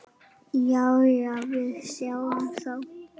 Jæja, við sjáumst þá.